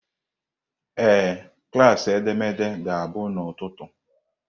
Ee, klaasị edemede ga-abụ n'ụtụtụ.